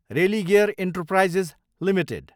Religare enterprises Ltd